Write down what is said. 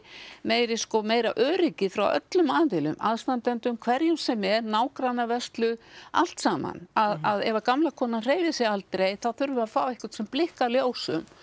meiri sko meira öryggi frá öllum aðilum aðstandendum hverjum sem er nágrannavörslu allt saman að ef gamla konan hreyfir sig aldrei þá þurfum við að fá einhvern sem blikkar ljósum